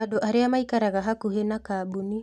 Andũ arĩa maikaraga hakuhĩ na kambuni